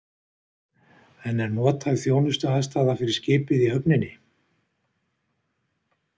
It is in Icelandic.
En er nothæf þjónustuaðstaða fyrir skipið í höfninni?